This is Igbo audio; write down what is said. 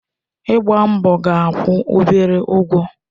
Ịgba mbọ ga-akwụ obere ụgwọ